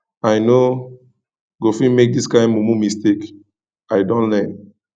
i no go fit make dis kain mumu mistake i don learn